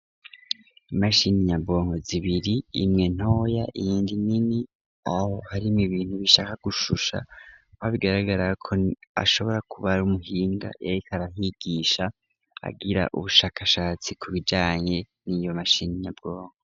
Imashini nyabwonko zibiri imwe ntoya iyindi nini ,aho harimwo ibintu bishaka gushusha, aho bigaragara ko ashobora kuba ari umuhinga yariko arabigisha agira ubushakashatsi ku bijanye n'iyo mashini nyabwonko.